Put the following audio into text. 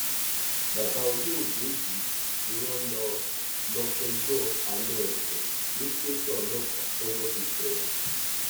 bàbá olóògbé yìí ni wọn lọ lọọ fẹjọ àna ẹ sùn ní tẹsán ọlọpàá tọwọ fi tẹ ẹ